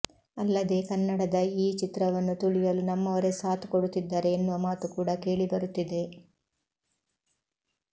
ಅಲ್ಲದೇ ಕನ್ನಡದ ಈ ಚಿತ್ರವನ್ನು ತುಳಿಯಲು ನಮ್ಮವರೇ ಸಾಥ್ ಕೊಡುತ್ತಿದ್ದಾರೆ ಎನ್ನುವ ಮಾತು ಕೂಡ ಕೇಳಿ ಬರುತ್ತಿದೆ